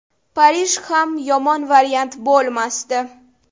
Parij ham yomon variant bo‘lmasdi.